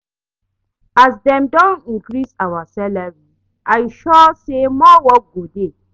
As dem don increase our salary I sure say more work go dey